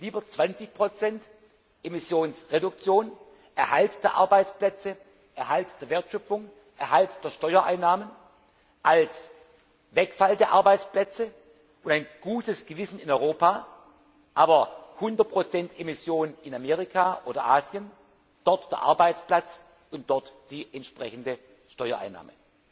Lieber 20 Emissionsreduktion, Erhalt der Arbeitsplätze, Erhalt der Wertschöpfung, Erhalt der Steuereinnahmen als Wegfall der Arbeitsplätze und ein gutes Gewissen in Europa, aber 100 Emission in Amerika oder Asien, dort der Arbeitsplatz und dort die entsprechende Steuereinnahme.